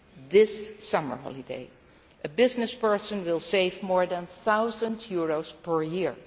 This summer holiday a business person will save more than EUR 1000 per